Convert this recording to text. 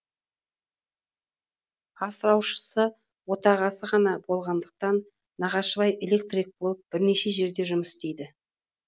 асыраушысы отағасы ғана болғандықтан нағашыбай электрик болып бірнеше жерде жұмыс істейді